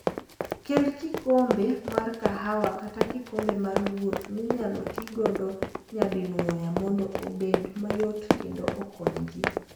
Kel kikombe mar kahawa kata kikombe mar wuoth minyalo ti godo nyadinwoya mondo obed mayot kendo okony ji.